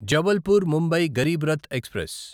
Jabalpur Mumbai Garib Rath express